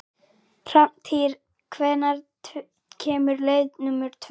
Hrafntýr, hvenær kemur leið númer tvö?